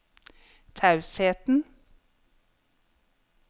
tausheten